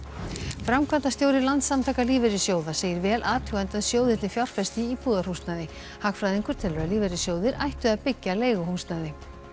framkvæmdastjóri Landssamtaka lífeyrissjóða segir vel athugandi að sjóðirnir fjárfesti í íbúðarhúsnæði hagfræðingur telur að lífeyrissjóðir ættu að byggja leiguhúsnæði